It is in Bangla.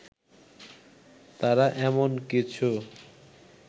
তারা এমন কিছু